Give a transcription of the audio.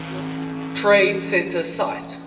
trade center site